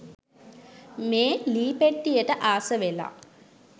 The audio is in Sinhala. මේ ලී පෙට්ටියට ආස වෙලා